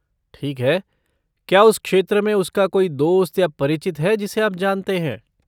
ठीक है, क्या उस क्षेत्र में उसका कोई दोस्त या परिचित है जिसे आप जानते हैं?